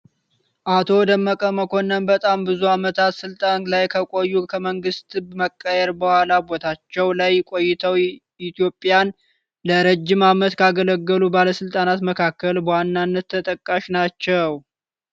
አቶ ደመቀ መኮንን በጣም ብዙ አመታት ስልጣን ላይ ከቆዩ ከመንግስት መቀየር በኋላም ቦታቸው ላይ ቆይተው ኢትዮጵያን ለረጅም አመት ካገለገሉ ባለስልጣናት መካከል በዋናነት ተጠቃሽ ናቸው።